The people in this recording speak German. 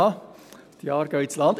– Die Jahre gehen ins Land.